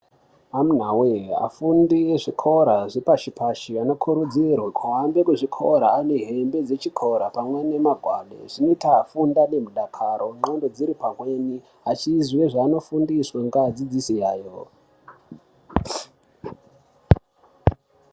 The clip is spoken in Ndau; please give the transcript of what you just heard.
Amuna voye afundi ezvikora zvepashi-pashi anokurudzirwe kuhambe kuzvikora anehembe dzechikora pamwe nemagwade. Zvinoita afunde nemudakaro ndxondo dziri pamweni achiziye zvimwe zvanofundiswa ngeadzidzisi ayo.